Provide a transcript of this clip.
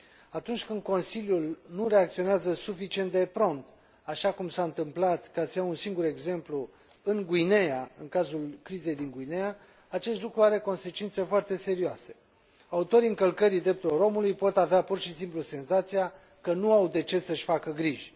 Atunci când Consiliul nu reacționează suficient de prompt, așa cum s a întâmplat, ca să iau un singur exemplu, în Guineea, în cazul crizei din Guineea, acest lucru are consecințe foarte serioase autorii încălcării drepturilor omului pot avea pur și simplu senzația că nu au de ce să și facă griji.